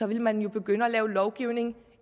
ville man jo begynde at lave lovgivning